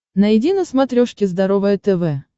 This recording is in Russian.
найди на смотрешке здоровое тв